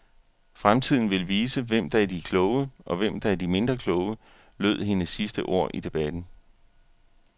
Fremtiden vil vise, hvem der er de kloge, og hvem der er de mindre kloge, lød hendes sidste ord i debatten.